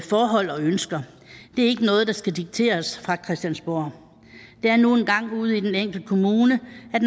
forhold og ønsker det er ikke noget der skal dikteres fra christiansborg det er nu engang ude i den enkelte kommune